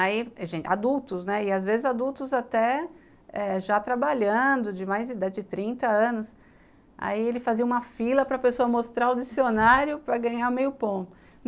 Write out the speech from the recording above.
Aí, adultos, e às vezes adultos até já trabalhando, de mais de trinta anos, aí ele fazia uma fila para a pessoa mostrar o dicionário para ganhar meio ponto.